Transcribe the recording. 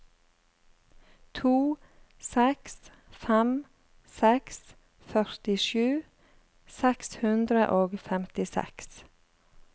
to seks fem seks førtisju seks hundre og femtiseks